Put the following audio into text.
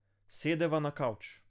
Sedeva na kavč.